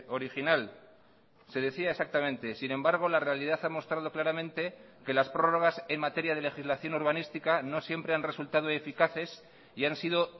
original se decía exactamente sin embargo la realidad ha mostrado claramente que las prorrogas en materia de legislación urbanística no siempre han resultado eficaces y han sido